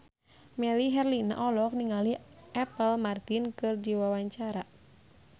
Melly Herlina olohok ningali Apple Martin keur diwawancara